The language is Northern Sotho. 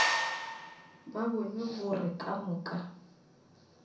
ba bone gore ka moka